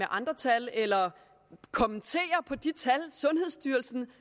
andre tal eller kommenterer de tal sundhedsstyrelsen